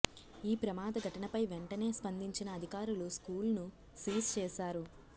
ఈ ప్రమాద ఘటనపై వెంటనే స్పందించిన అధికారులు స్కూల్ను సీజ్ చేశారు